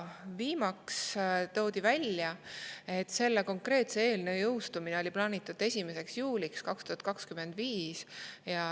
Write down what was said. Viimaks toodi välja, et selle konkreetse eelnõu jõustumine oli plaanitud 1. juuliks 2025.